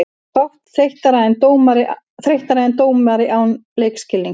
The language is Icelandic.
Fátt þreyttara en dómari án leikskilnings.